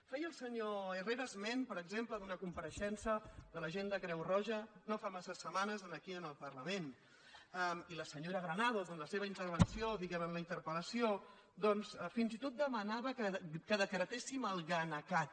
feia el senyor herrera es·ment per exemple d’una compareixença de la gent de creu roja no fa massa setmanes aquí en el par·lament i la senyora granados en la seva intervenció diguem·ne en la interpel·nava que decretéssim el gana cat